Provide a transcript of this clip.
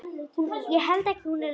Hurð heyrist skellt.